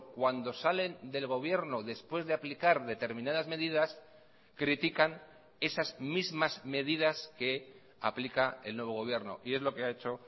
cuando salen del gobierno después de aplicar determinadas medidas critican esas mismas medidas que aplica el nuevo gobierno y es lo que ha hecho